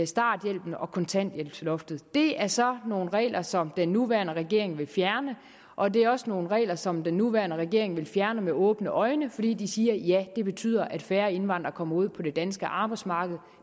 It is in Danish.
starthjælpen og kontanthjælpsloftet det er så nogle regler som den nuværende regering vil fjerne og det er også nogle regler som den nuværende regering vil fjerne med åbne øjne fordi de siger at det betyder at færre indvandrere kommer ud på det danske arbejdsmarked